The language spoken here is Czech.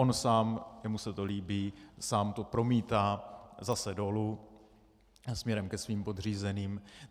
On sám, jemu se to líbí, sám to promítá zase dolů směrem ke svým podřízeným.